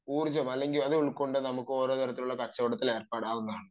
ഒരു ഊർജ്ജം ഉൾക്കൊണ്ടു കൊണ്ട് നമുക്ക് ഓരോരോ തരത്തിലുള്ള കച്ചവടത്തിൽ ഏർപ്പെടാവുന്നതാണ്